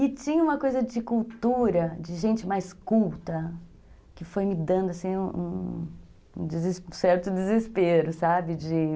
E tinha uma coisa de cultura, de gente mais culta, que foi me dando, assim, um um certo desespero, sabe? de